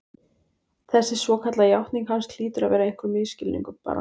Þessi svokallaða játning hans hlýtur að vera einhver misskilningur, bara